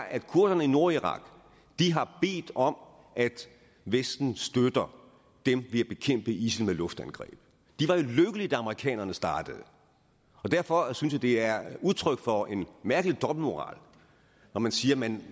at kurderne i nordirak har bedt om at vesten støtter dem ved at bekæmpe isil med luftangreb de var lykkelige da amerikanerne startede derfor synes jeg det er udtryk for en mærkelig dobbeltmoral når man siger at man